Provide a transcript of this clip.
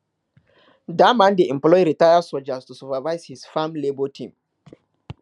dat man dey employ retired soldier to supervise his farm labour team